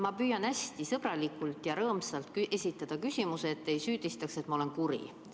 Ma püüan hästi sõbralikult ja rõõmsalt esitada küsimuse, et te ei süüdistaks, et ma olen kuri.